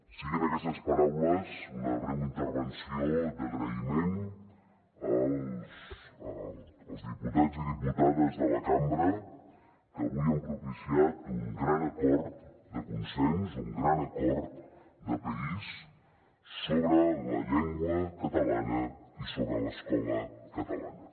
siguin aquestes paraules una breu intervenció d’agraïment als diputats i diputades de la cambra que avui han propiciat un gran acord de consens un gran acord de país sobre la llengua catalana i sobre l’escola catalana